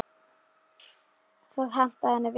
Það hentaði henni vel.